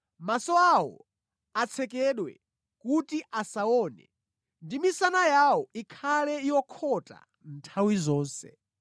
Maso awo atsekedwe kuti asaone, ndi misana yawo ikhale yokhota nthawi zonse.”